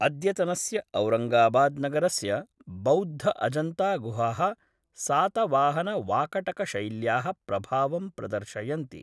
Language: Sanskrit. अद्यतनस्य औरङ्गाबाद्नगरस्य बौद्ध अजन्तागुहाः सातवाहनवाकटकशैल्याः प्रभावं प्रदर्शयन्ति।